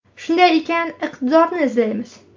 Shunday ekan, iqtidorni izlaymiz.